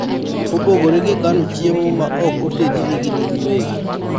mopogore gikano chiemo ma ok otedi ni gin giwegi